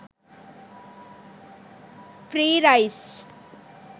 free rice